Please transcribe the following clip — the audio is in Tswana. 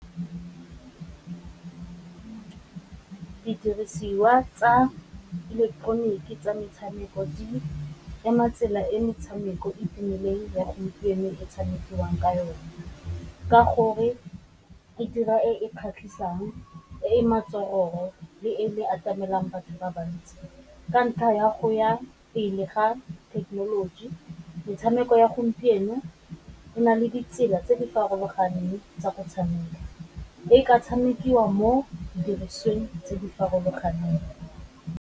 Didirisiwa tsa ileketeroniki tsa metshameko di ema tsela e metshameko e tumileng ya gompieno e tshamekiwang ka yone, ka gore e dira e e kgatlhisang, e e le e e atamelang batho ba bantsi ka ntlha ya go ya pele ga thekenoloji. Metshameko ya gompieno o na le ditsela tse di farologaneng tsa go tshameka e ka tshamekiwa mo didirisweng tse di farologaneng.